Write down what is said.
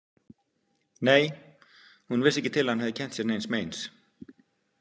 Nei, hún vissi ekki til að hann hefði kennt sér neins meins.